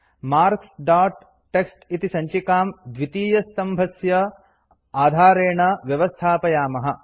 marks dot TXT इति सञ्चिकां द्वितीयस्तम्भस्य आधारेण व्यवस्थापयामः